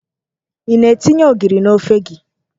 Ị na-etinye ogiri n'ofe gị?